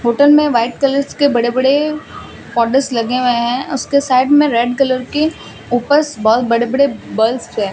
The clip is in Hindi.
होटल में वाइट कलर्स के बड़े बड़े लगे हैं उसके साइड में रेड कलर के ऊपर बहोत बड़े बड़े बल्ब्स हैं।